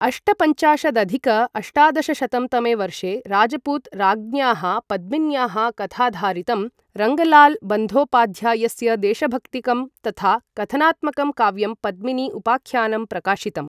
अष्टपञ्चाशदधिक अष्टादशशतं तमे वर्षे राजपूत राज्ञ्याः पद्मिन्याः कथाधारितं रङ्गलाल बन्द्योपाध्यायस्य देशभक्तिकं तथा कथनात्मकं काव्यं पद्मिनी उपाख्यानं प्रकाशितम्।